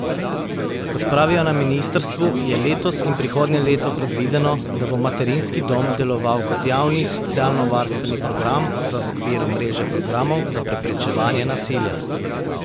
Kot pravijo na ministrstvu, je letos in prihodnje leto predvideno, da bo materinski dom deloval kot javni socialnovarstveni program v okviru mreže programov za preprečevanje nasilja.